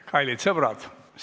Kallid sõbrad!